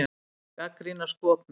Gagnrýna skopmynd